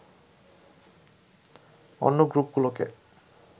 অন্য গ্রুপগুলোকে